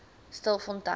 stilfontein